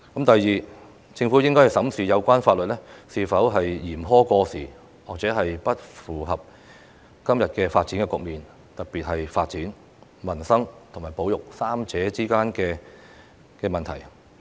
第二，政府應審視有關法律是否嚴苛過時，或不符合今天的發展局面，特別是在發展、民生和保育三者之間的問題。